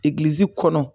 Egilizi kɔnɔ